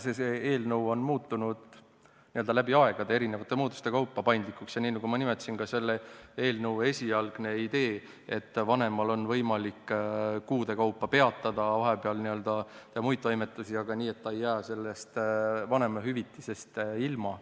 See eelnõu on muutunud läbi aegade erinevate muutuste kaupa paindlikuks ja, nii nagu ma nimetasin, oli selle eelnõu esialgne idee selline, et vanemal on võimalik kuude kaupa peatada ja vahepeal teha muid toimetusi, aga nii, et ta ei jää sellest vanemahüvitisest ilma.